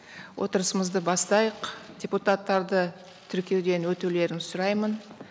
отырысымызды бастайық депутаттарды тіркеуден өтулерін сұраймын